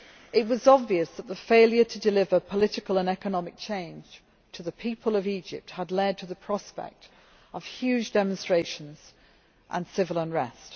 It was obvious that the failure to deliver political and economic change to the people of Egypt had led to the prospect of huge demonstrations and civil unrest.